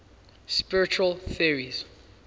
spiritual theories